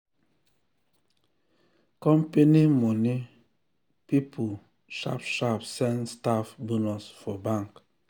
company money people sharp sharp send staff bonus for bank